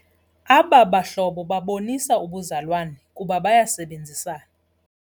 Aba bahlobo babonisa ubuzalwane kuba bayasebenzisana.